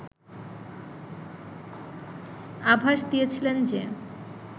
আভাস দিয়েছিলেন যে